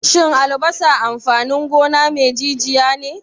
Shin albasa amfanin gona me jijiya ne?